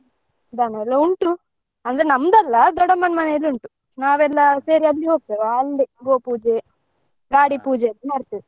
ದನಯೆಲ್ಲಾ ಉಂಟು ಅಂದ್ರೆ ನಮ್ದಲ್ಲ ದೊಡ್ಡಮ್ಮನ ಮನೇಲಿ ಉಂಟು ನಾವೆಲ್ಲ ಸೇರಿ ಅಲ್ಲಿ ಹೋಗ್ತೇವಾ ಅಲ್ಲಿ ಗೋಪೂಜೆ ಗಾಡಿ ಮಾಡ್ತೆವೆ.